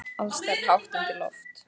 Alls staðar er hátt undir loft.